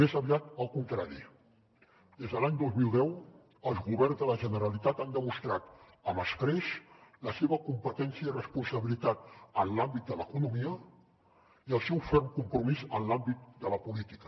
més aviat al contrari des de l’any dos mil deu els governs de la generalitat han demostrat amb escreix la seva competència i responsabilitat en l’àmbit de l’economia i el seu ferm compromís en l’àmbit de la política